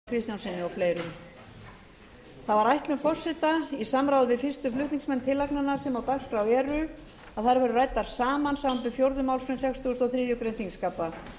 það var ætlun forseta í samráði við fyrstu flutningsmenn tillagnanna sem á dagskrá eru að þær verði ræddar saman samanber fjórðu málsgrein sextugustu og þriðju greinar þingskapa